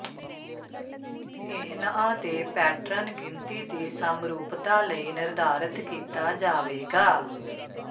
ਇਹਨਆ ਦੇ ਪੈਟਰਨ ਗਿਣਤੀ ਦੀ ਸਮਰੂਪਤਾ ਲਈ ਨਿਰਧਾਰਤ ਕੀਤਾ ਜਾਵੇਗਾ